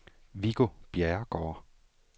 Viggo Bjerregaard